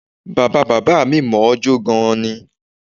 Bàbá bàbá mi mọ̀ ọ́n jó gan-an ni